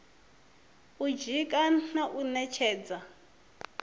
u dzika na u ṅetshedza